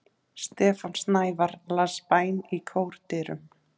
Stefán Snævarr las bæn í kórdyrum.